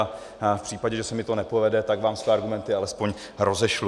A v případě, že se mi to nepovede, tak vám své argumenty alespoň rozešlu.